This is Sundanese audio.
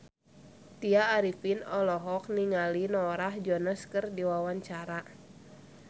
Tya Arifin olohok ningali Norah Jones keur diwawancara